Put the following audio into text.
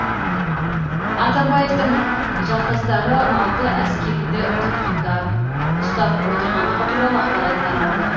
атамбаевтың жақтастары алты әскериді тұтқында ұстап отырғандығы туралы ақпарат таралды